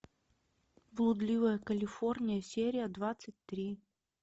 блудливая калифорния серия двадцать три